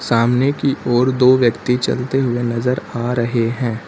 सामने की ओर दो व्यक्ति चलते हुए नजर आ रहे हैं।